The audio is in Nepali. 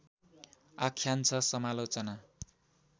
आख्यान छ समालोचना